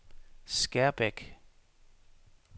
Skærbæk